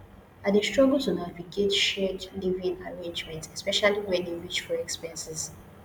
i dey struggle to navigate shared living arrangement especially when e reach for expenses